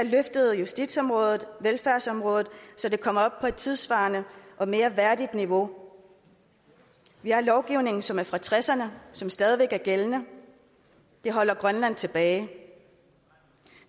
løftet justitsområdet og velfærdsområdet så de kommer op på et tidssvarende og mere værdigt niveau vi har lovgivning som er fra nitten tresserne og som stadig væk er gældende det holder grønland tilbage